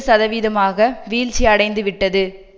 சதவீதமாக வீழ்ச்சியடைந்துவிட்டது